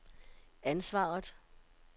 ansvaret